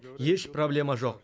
еш проблема жоқ